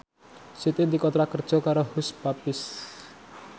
Siti dikontrak kerja karo Hush Puppies